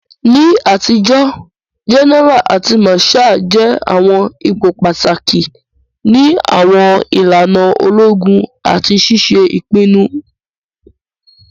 Ni atijo, gẹ́nẹ́ra àti màsháà jẹ àwọn ipò pàtàkì ni àwọn ìlànà ológun àti ṣiṣe ìpinnu.